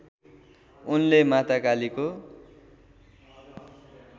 उनले माता कालीको